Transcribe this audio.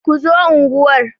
Ku zo unguwar!